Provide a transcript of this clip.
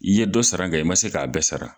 I ye dɔ sara nga i ma se ka bɛɛ sara